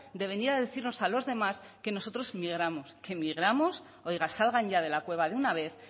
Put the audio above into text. de venir a decirnos a los demás que nosotros migramos qué migramos oiga salgan ya de la cueva de una vez